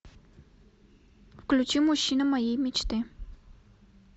включи мужчина моей мечты